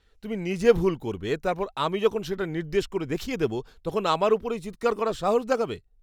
তুমি নিজে ভুল করবে, তারপর আমি যখন সেটা নির্দেশ করে দেখিয়ে দেব তখন আমার ওপরেই চিৎকার করার সাহস দেখাবে!